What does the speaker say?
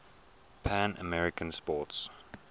pan american sports